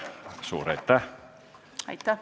Suur aitäh!